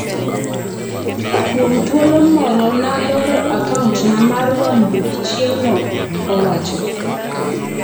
"kuom thuolo moro Naloro akauntna mar wang' buk chieng'no," owacho.